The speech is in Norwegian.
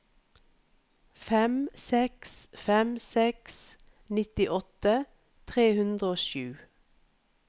fem seks fem seks nittiåtte tre hundre og sju